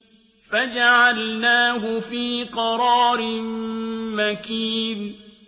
فَجَعَلْنَاهُ فِي قَرَارٍ مَّكِينٍ